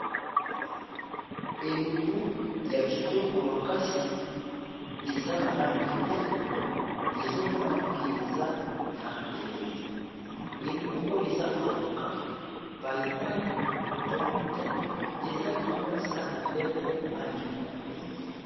Elubu yakitoko makasi eza nalangi ya bien ezomonana ke eza na elengi elubu oyo eza avocat ,paipai, tomate ezalikolo yasani mbele nalangi ya pembe